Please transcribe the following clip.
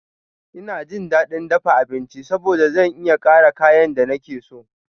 Ina jin daɗin dafa abinci saboda zan iya ƙara kayan da nake so.